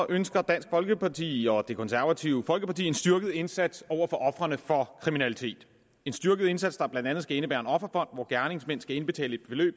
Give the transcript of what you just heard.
ønsker dansk folkeparti og det konservative folkeparti en styrket indsats over for ofrene for kriminalitet en styrket indsats der blandt andet skal indebære en offerfond hvor gerningsmænd skal indbetale et beløb